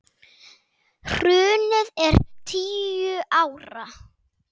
Hrunið er tíu ára.